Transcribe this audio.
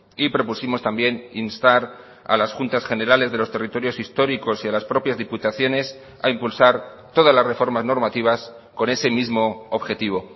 y propusimos también instar a las juntas generales de los territorios históricos y a las propias diputaciones a impulsar todas las reformas normativas con ese mismo objetivo